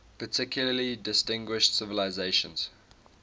particularly distinguished civilization